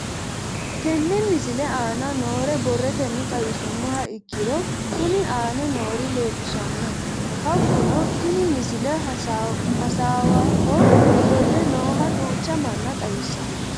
Tenne misile aana noore borrotenni xawisummoha ikirro kunni aane noore leelishano. Hakunno tinni misile hasaawaho ofolle nooha duucha manna xawissanno.